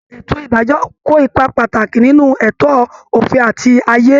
Ètò ìdájọ́ kó ipa pàtàkì nínú ẹ̀tọ́ òfin àti ààyè